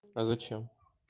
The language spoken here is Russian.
а зачем